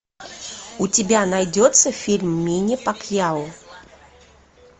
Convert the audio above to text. у тебя найдется фильм мэнни пакьяо